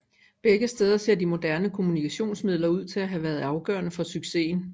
Begge steder ser de moderne kommunikationsmidler ud til at have været afgørende for succesen